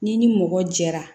N'i ni mɔgɔ jɛra